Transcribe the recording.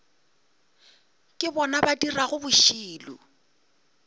ke bona ba dirago bošilo